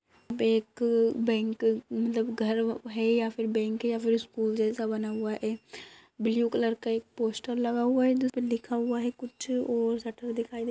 एक बैंक मतलब घर है या बैंक है या फिर स्कूल जैसा बना हुआ है। ब्लू कलर का एक पोस्टर लगा हुआ है जिसमे लिखा हुआ है कुछ और शटर दिखाई दे --